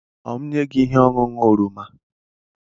Ọ̀ m enye gị ihe ọṅụṅụ oroma?